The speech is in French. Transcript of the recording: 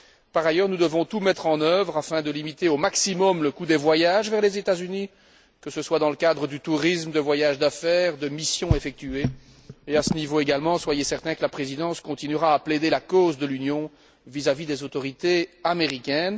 Par ailleurs, nous devons tout mettre en œuvre pour limiter au maximum le coût des voyages vers les États Unis, que ce soit dans le cadre du tourisme, de voyages d'affaires, de missions effectuées et, à ce niveau également, soyez certains que la Présidence continuera à plaider la cause de l'Union vis à vis des autorités américaines.